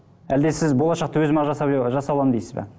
әлде сіз болашақты өзім ақ жасап жасай аламын дейсіз бе